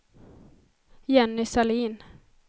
Jenny Sahlin